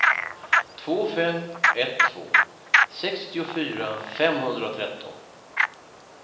två fem ett två sextiofyra femhundratretton